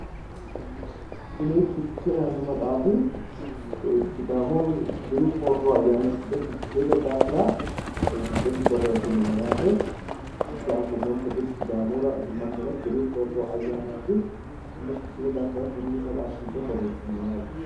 Kuni fichee yaanno maxaafi ficheete daafira borreesinoonni maxaafati anfuummonte gede fichee sidaamu dagara diru soorro ayyaanati